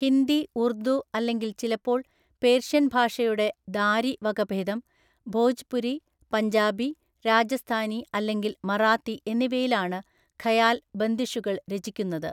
ഹിന്ദി ഉർദു അല്ലെങ്കിൽ ചിലപ്പോള്‍ പേർഷ്യൻ ഭാഷയുടെ ദാരി വകഭേദം, ഭോജ്പുരി, പഞ്ചാബി, രാജസ്ഥാനി അല്ലെങ്കിൽ മറാത്തി എന്നിവയിലാണ് ഖയാൽ ബന്ദിഷുകള്‍ രചിക്കുന്നത്.